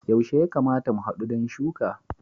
Yaushe ya kamata mu hadu don shuka?